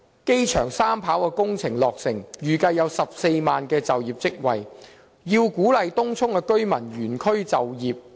機場三跑工程將來落成，預計可創造14萬個就業職位，從而鼓勵東涌居民原區就業。